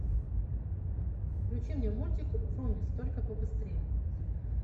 включи мне мультик врумиз только побыстрее